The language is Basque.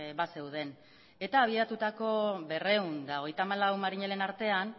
bazeuden eta abiatutako berrehun eta hogeita hamalau marinelen artean